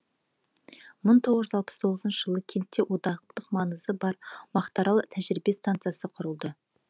мың тоғыз жүз алпыс тоғызыншы жылы кентте одақтық маңызы бар мақтаарал тәжірибе станциясы құрылды